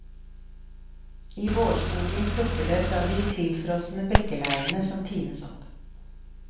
I vårskogen klukker det fra de tilfrosne bekkeleiene som tines opp.